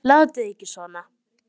Látið ekki svona.